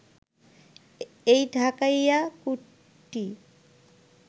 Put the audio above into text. এই ঢাকাইয়া কুট্টি